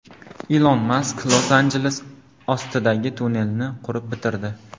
Ilon Mask Los-Anjeles ostidagi tunnelni qurib bitirdi.